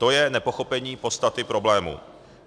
To je nepochopení podstaty problému.